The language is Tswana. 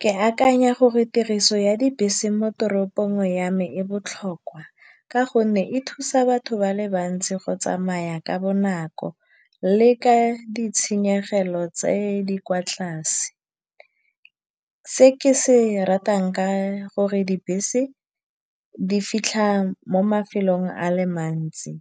Ke akanya gore tiriso ya dibese mo toropong ya me e botlhokwa ka gonne e thusa batho ba le bantsi go tsamaya ka bonako le ka ditshenyegelo tse di kwa tlase. Se ke se ratang ka gore dibese di fitlha mo mafelong a le mantsi.